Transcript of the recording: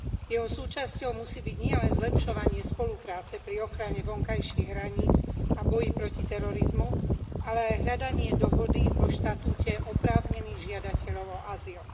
Jeho súčasťou musí byť nielen zlepšovanie spolupráce pri ochrane vonkajších hraníc a boji proti terorizmu, ale aj hľadanie dohody o štatúte oprávnených žiadateľov o azyl.